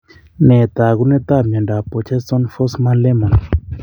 Nee taakunetaab myondap Borjeson Forssman Lehmann?